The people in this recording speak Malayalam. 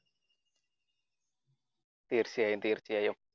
തീർച്ചയായും തീർച്ചയായും.